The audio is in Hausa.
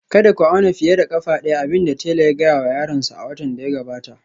Kada ku auna fiye da ƙafa ɗaya, abin da tela ya gaya wa yaron nasa a watan da ya gabata